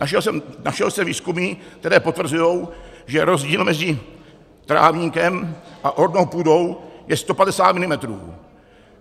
Našel jsem výzkumy, které potvrzují, že rozdíl mezi trávníkem a ornou půdou je 150 mm;